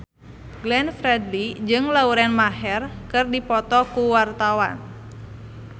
Glenn Fredly jeung Lauren Maher keur dipoto ku wartawan